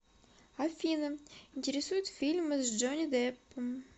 афина интересуют фильмы с джонни деппом